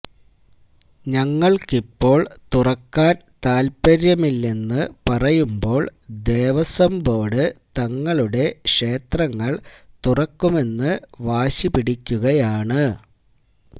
ഞങ്ങൾക്കിപ്പോൾ തുറക്കാൻ താൽപര്യമില്ലെന്ന് പറയുമ്പോൾ ദേവസ്വം ബോർഡ് തങ്ങളുടെ ക്ഷേത്രങ്ങൾ തുറക്കുമെന്ന് വാശിപിടിക്കുകയാണ്